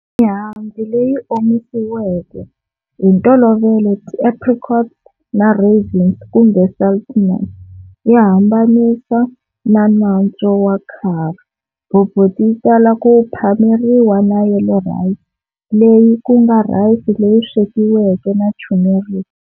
Mihandzu leyi omisiweke, hi ntolovelo ti apricots na raisins kumbe sultanas, yi hambanisa na nantswo wa curry. Bobotie yitala ku phameriwa na"yellow rice", leyi kunga rice leri swekiweke na turmeric.